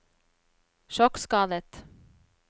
sjokkskadet